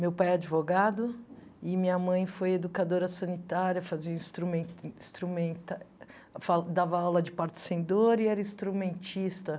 Meu pai é advogado e minha mãe foi educadora sanitária, fazia instrumen instrumenta fa dava aula de parto sem dor e era instrumentista.